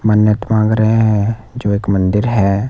मन्नत मांग रहे हैं जो एक मंदिर है।